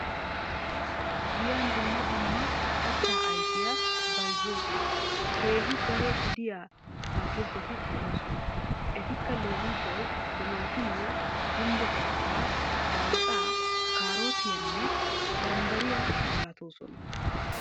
giyan dumma dumma katta ayfiyaa bayzziyoosan keehi daro gidiyaa atakiltteti de'oosona. etikka leemissuwaw timatimmiya, gumbbo santta. salaaxa, kaarottiyanne bambbariya malatoosona.